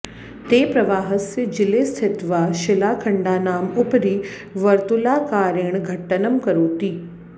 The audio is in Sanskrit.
ते प्रवाहस्य जले स्थित्वा शिलाखण्डानाम् उपरि वर्तुलाकारेण घट्टनं करोति